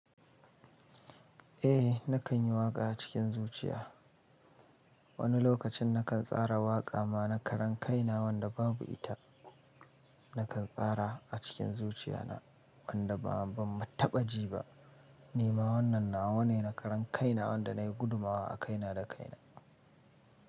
Eh nakan yi waƙa a cikin zuciya. Wani lokacin nakan tsara waƙa mana karan kaina wanda babu ita. Nakan tsara a cikin zuciya na wanda ba ban tabbaci ba. Ni ma wannan nawa ne na karan kaina wanda na yi gudumawa a kaina da kaina.